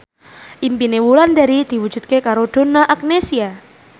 impine Wulandari diwujudke karo Donna Agnesia